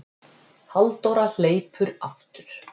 Halldóra hleypur aftur.